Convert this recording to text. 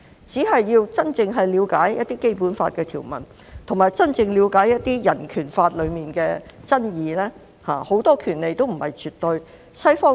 只要真正了解《基本法》的條文，以及真正了解人權法的爭議，便知道很多權利也不是絕對的。